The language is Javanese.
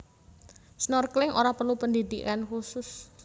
Snorkeling ora perlu pendhidhikan khusus